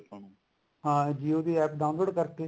ਹਾਂ jio ਦੀ APP download ਕਰਕੇ